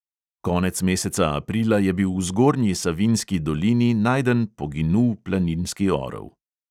Konec meseca aprila je bil v zgornji savinjski dolini najden poginul planinski orel.